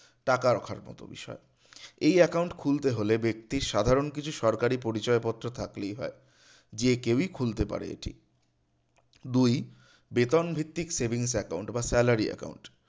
টাকা রাখার মতো বিষয় এই account খুলতে হলে ব্যক্তির সাধারণ কিছু সরকারি পরিচয় পত্র থাকলেই হয় যে কেউই খুলতে পারে এটি দুই বেতন ভিত্তিক savings account বা salary account